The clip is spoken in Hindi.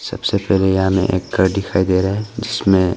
सबसे पहले यहां में एक घर दिखाई दे रहा है जिसमें--